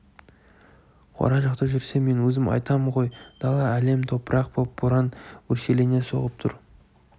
қора жақта жүрсе мен өзім айтам ғой дала әлем-тапырық боп боран өршелене соғып тұр